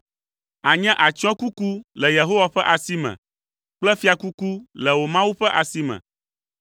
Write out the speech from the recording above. Ànye atsyɔ̃kuku le Yehowa ƒe asi me kple fiakuku le wò Mawu ƒe asi me.